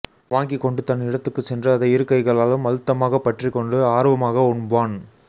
வாங்கிக்கொண்டு தன் இடத்துக்குச் சென்று அதை இரு கைகளாலும் அழுத்தமாகப் பற்றிக்கொண்டு ஆர்வமாக உண்பான்